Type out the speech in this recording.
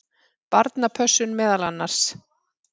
Barnapössun meðal annars.